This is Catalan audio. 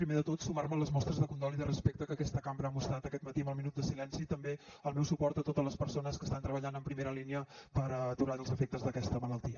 primer de tot sumar me a les mostres de condol i de respecte que aquesta cambra ha mostrat aquest matí amb el minut de silenci i també el meu suport a totes les persones que estan treballant en primera línia per aturar els efectes d’aquesta malaltia